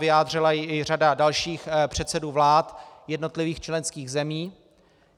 Vyjádřila ji i řada dalších předsedů vlád jednotlivých členských zemí.